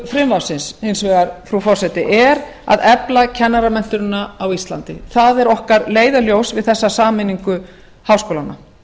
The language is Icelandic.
frumvarpsins hins vegar frú forseti er að efla kennaramenntun á íslandi það er okkar leiðarljós við þessa sameiningu háskólanna